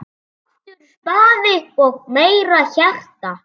Aftur spaði og meira hjarta.